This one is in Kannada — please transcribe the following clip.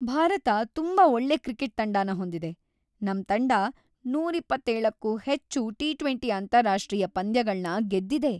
ಭಾರತ ತುಂಬಾ ಒಳ್ಳೆ ಕ್ರಿಕೆಟ್ ತಂಡನ ಹೊಂದಿದೆ. ನಮ್ ತಂಡ ನೂರ ಇಪ್ಪತ್ತೇಳಕ್ಕೂ ಹೆಚ್ಚು ಟಿ-ಟ್ವೆಂಟಿ ಅಂತಾರಾಷ್ಟ್ರೀಯ ಪಂದ್ಯಗಳ್ನ ಗೆದ್ದಿದೆ.